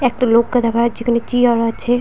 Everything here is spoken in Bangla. একটা লোক কে দেখা যাচ্ছে। এখানে চিয়ার আছে --